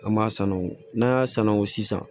An m'a sanu n'an y'a sanango sisan